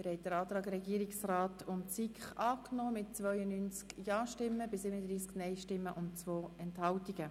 Sie haben den Antrag Regierungsrat/SiK angenommen mit 92 Ja- gegen 37 Nein-Stimmen bei 2 Enthaltungen.